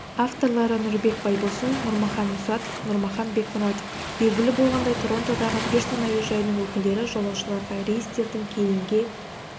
авторлары нұрбек байбосын нұрмахан мұсатов нұрмахан бекмұратов белгілі болғандай торонтодағы пирсон әуежайының өкілдері жолаушыларға рейстердің кейінге